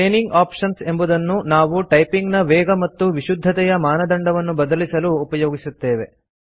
training options ಎಂಬುದನ್ನು ನಾವು typing ನ ವೇಗ ಮತ್ತು ವಿಶುದ್ಧತೆಯ ಮಾನದಂಡವನ್ನು ಬದಲಿಸಲು ಉಪಯೋಗಿಸುತ್ತೇವೆ